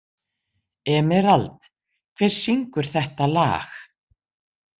Emerald, hver syngur þetta lag?